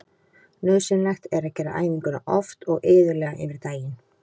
Nauðsynlegt er að gera æfinguna oft og iðulega yfir daginn.